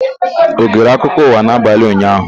Ọ gere akụkọ ụwa n'abalị ụnyaahụ?